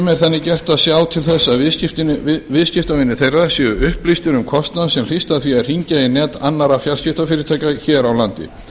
farsímafyrirtækjum er þannig gert að sjá til þess að viðskiptavinir þeirra séu upplýstir um kostnað sem hlýst af því að hringja í net annarra fjarskiptafyrirtækja hér á landi